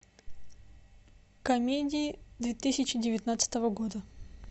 комедии две тысячи девятнадцатого года